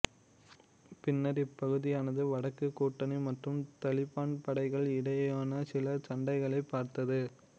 பின்னர் இப்பகுதியானது வடக்கு கூட்டணி மற்றும் தலிபான் படைகள் இடையேயான சில சண்டைகளைப் பார்த்தது